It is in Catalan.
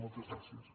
moltes gràcies